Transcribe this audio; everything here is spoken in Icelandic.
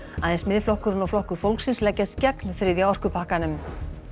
aðeins Miðflokkurinn og Flokkur fólksins leggjast gegn þriðja orkupakkanum